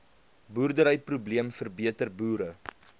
boerderyprobleem verbeter boere